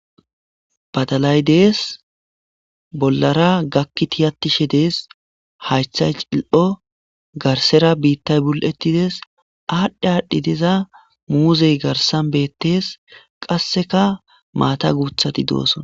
Badalay dess bollara gaki tiyatishe dess haththay cilli'o garsera biittay bul'ettides adhi adhi diza muzey garssan bettes gasseka maata guththati dosona.